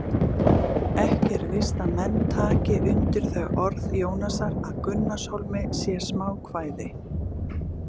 Ekki er víst að menn taki undir þau orð Jónasar að Gunnarshólmi sé smákvæði!